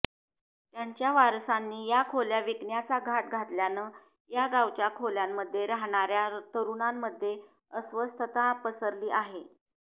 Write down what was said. त्यांच्या वारसांनी या खोल्या विकण्याचा घाट घातल्यानं या गावच्या खोल्यांमध्ये राहणाऱ्या तरूणांमध्ये अस्वस्थता पसरली आहे